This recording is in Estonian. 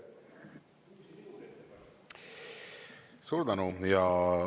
Suur tänu!